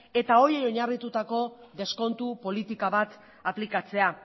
eta horiei oinarritutako deskontu politika bat aplikatzea